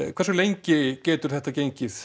hversu lengi getur þetta gengið